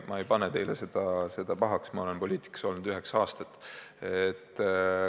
Ma ei pane teile seda pahaks, ma olen poliitikas olnud üheksa aastat.